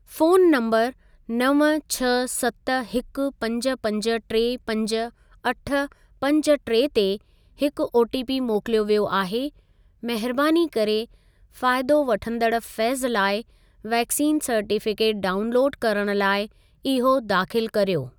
Phone नंबरु नव छह सत हिकु पंज पंज टे पंज अठ पंज टे ते हिकु ओटीपी मोकिलियो वियो आहे महिरबानी करे फ़ाइदो वठंदड़ु फैज़ लाइ वैक्सीन सर्टिफ़िकेटु डाउनलोडु करणु लाइ इहो दाख़िलु करियो।